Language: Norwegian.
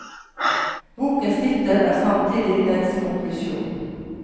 Bokens titel er samtidig dens konklusjon.